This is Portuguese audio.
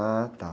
Ah, tá.